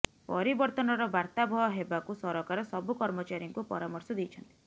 ପରିବର୍ତ୍ତନର ବାର୍ତ୍ତାବହ ହେବାକୁ ସରକାର ସବୁ କର୍ମଚାରୀଙ୍କୁ ପରାମର୍ଶ ଦେଇଛନ୍ତି